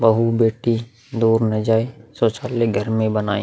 बहु बेटी दूर ना जाए। शौचालय घर में ही बनाए।